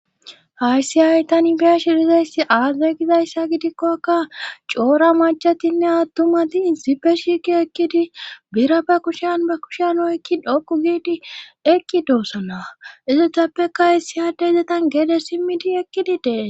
Hayssi hay tanibea shirizayssi aaze gizayssa gidikkokka coora machatinne attumati isipe shiki ekkidi bira ba kushen ba kushen hoykki dhokku giidi ekki doossona izotappeka hy siyade izetan geede simmidi ekkidi dee